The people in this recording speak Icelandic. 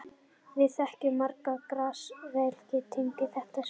Við þekkjumst margir og Grass-vélin tengir þetta svolítið.